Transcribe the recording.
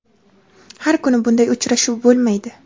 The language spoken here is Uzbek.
Har kuni bunday uchrashuv bo‘lmaydi.